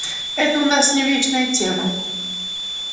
это у нас с ним вечная тема